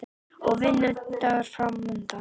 Og vinnudagur framundan.